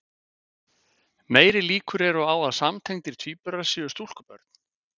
meiri líkur eru á að samtengdir tvíburar séu stúlkubörn